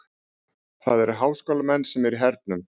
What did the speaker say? Það eru háskólamenn sem eru í hernum.